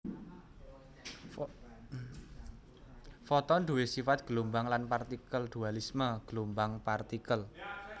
Foton duwé sifat gelombang lan partikel dualisme gelombang partikel